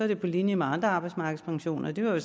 det på linje med andre arbejdsmarkedspensioner og det var jo